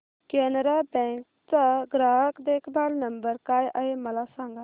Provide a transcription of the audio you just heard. Canara bank चा ग्राहक देखभाल नंबर काय आहे मला सांगा